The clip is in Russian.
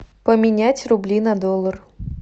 поменять рубли на доллар